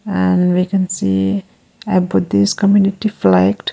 and we can see a buddhist community flagged.